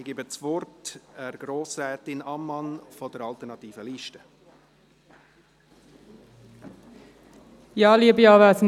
Ich gebe Grossrätin Ammann von der Alternativen Liste das Wort.